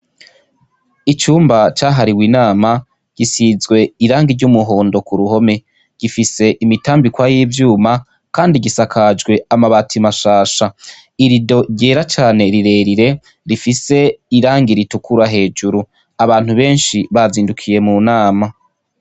Icumba ca hariwe inama, gisizwe irangi ry' umuhondo kuruhome gifise imitambikwa y' ivyuma kandi gisakajwe amabati mashasha. irido ryera cane rirerire rifise irangi ritukura hejuru, abantu benshi bazindukiye mu nama.